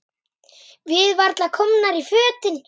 Við varla komnar í fötin.